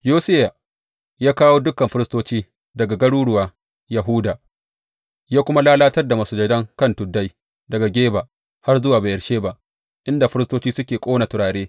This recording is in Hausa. Yosiya ya kawo dukan firistoci daga garuruwan Yahuda, ya kuma lalatar da masujadan kan tuddai daga Geba har zuwa Beyersheba, inda firistoci suke ƙona turare.